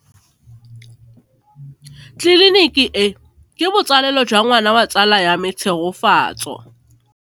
Tleliniki e, ke botsalêlô jwa ngwana wa tsala ya me Tshegofatso.